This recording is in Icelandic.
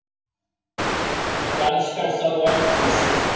JARÐSKJÁLFTAR OG ELDGOS